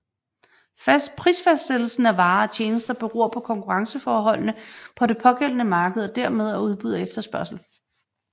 Prisfastsættelsen af varer og tjenester beror på konkurrenceforholdene på det pågældende marked og dermed af udbud og efterspørgsel